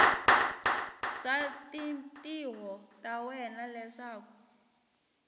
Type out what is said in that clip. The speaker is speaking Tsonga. swa tintiho ta wena leswaku